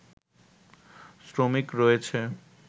শ্রমিক রয়েছে